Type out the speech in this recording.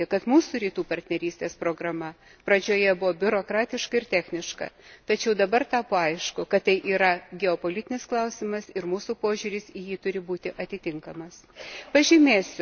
Turime pripažinti, kad mūsų Rytų partnerystės programa pradžioje buvo biurokratiška ir techniška, tačiau dabar tapo aišku, kad tai yra geopolitinis klausimas, ir mūsų požiūris į jį turi būti atitinkamas.